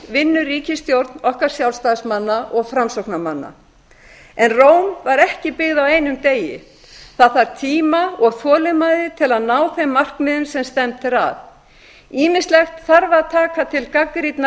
vinnur ríkisstjórn okkar sjálfstæðismanna og framsóknarmanna en róm var ekki byggð á einum degi það þarf tíma og þolinmæði til að ná þeim markmiðum sem stefnt er að ýmislegt þarf að taka til gagnrýnnar